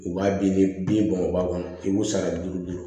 U b'a den ni bin bɔn o b'a kɔnɔ i b'u sara duuru